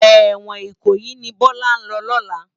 Èwòn Ikoyi ni Bola n lò lòlá